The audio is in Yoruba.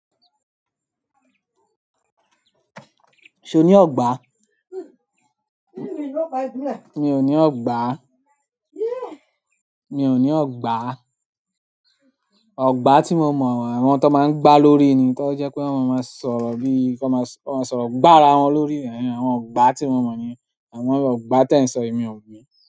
Ṣé o ní ọ̀gbà? Mi ò ní ọ̀gbà. Mi ò ní ọ̀gbà. Ọ̀gbà tí mo mọ̀, àwọn tó máa ń gbá lórí ni, tó jẹ́ pé wọ́n máa ń sọ̀rọ̀ bí, kí wọ́n máa sọ, wọ́n máa sọ̀rọ̀ gbà ara wọn lórí." Àwọn ọ̀gbà tí mo mọ̀ ni, àwọn ọ̀gbà te ń sọ èmi ò mo.